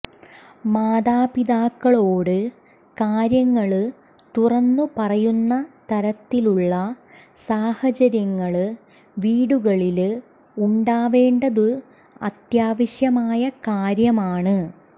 മാതാപിതാക്കളോട് കാര്യങ്ങള് തുറന്നു പറയുന്ന തരത്തിലുള്ള സാഹചര്യങ്ങള് വീടുകളില് ഉണ്ടാവേണ്ടത് അത്യാവശ്യമായ കാര്യമാണ്